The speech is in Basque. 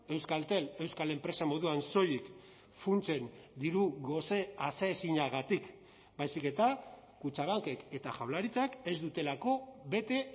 euskaltel euskal enpresa moduan soilik funtsen diru gose aseezinagatik baizik eta kutxabankek eta jaurlaritzak ez dutelako bete